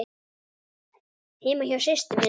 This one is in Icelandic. Heima hjá systur minni?